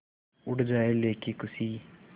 उड़ जाएं लेके ख़ुशी